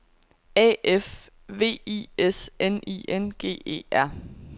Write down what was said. A F V I S N I N G E R